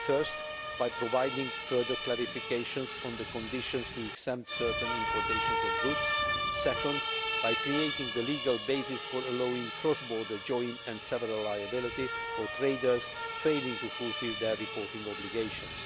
Firstly, by providing further clarification on the conditions for exempting certain imports of goods, and, secondly, by creating the legal basis for allowing cross border joint and several liability for traders failing to fulfil their reporting obligations.